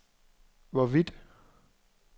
hvorvidt